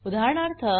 उदाहरणार्थ